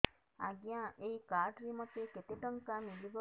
ଆଜ୍ଞା ଏଇ କାର୍ଡ ରେ ମୋତେ କେତେ ଟଙ୍କା ମିଳିବ